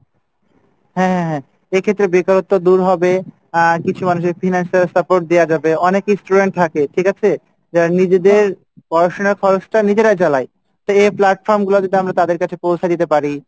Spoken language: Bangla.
হ্যাঁ হ্যাঁ হ্যাঁ এইক্ষেত্রে বেকারত্ব দূর হবে আহ কিছু মানুষের financial support দেওয়া যাবে অনেকই student থাকে, ঠিক আছে? যারা নিজেদের পড়াশুনা খরচটা নিজেরা চালায় তো এই platform গুলা যদি আমরা তাদের কাছে পৌঁছে দিতে পারি,